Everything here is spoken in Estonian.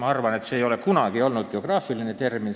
Ma arvan, et see ei ole kunagi olnud geograafiline küsimus.